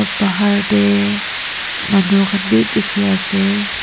bahar tae manu khan bi dikhiase.